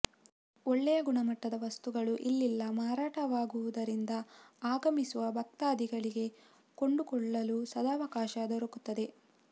ಒಳ್ಳೆಯ ಗುಣಮಟ್ಟದ ವಸ್ತುಗಳು ಇಲ್ಲಿಲ ಮಾರಾಟವಾಗುವುದರಿಂದ ಅಗಮಿಸುವ ಭಕ್ತಾಧಿಗಳಿಗೆ ಕೊಂಡುಕೊಳ್ಳಲು ಸದಾವಕಾಶ ದೊರಕುತ್ತದೆ